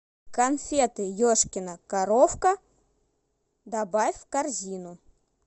конфеты ешкина коровка добавь в корзину